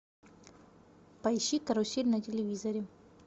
поищи карусель на телевизоре